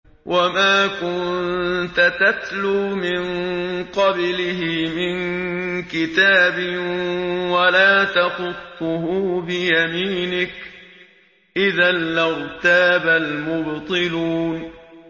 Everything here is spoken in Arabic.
وَمَا كُنتَ تَتْلُو مِن قَبْلِهِ مِن كِتَابٍ وَلَا تَخُطُّهُ بِيَمِينِكَ ۖ إِذًا لَّارْتَابَ الْمُبْطِلُونَ